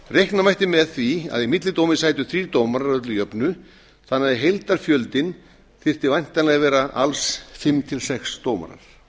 reikna mætti með því að í millidómi sætu þrír dómarar að öllu jöfnu þannig að heildarfjöldinn þyrfti væntanlega vera alls fimm til sex dómarar